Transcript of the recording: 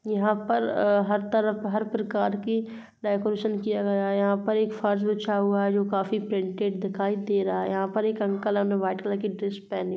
यहाँ पर हर तरफ हर प्रकार की डेकोरेशन किया गया है। यहाँ पर एक फर्श बिछा हुआ है जो काफी प्रिंटेड दिखाई दे रहा है। यहाँ पर एक अंकल हैं ना व्हाइट कलर की ड्रेस पहने --